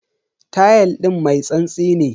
Tayal din mai tsantsi ne.